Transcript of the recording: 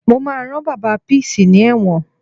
Mo máa rán Bàbá Peace ní ẹ̀wọ̀n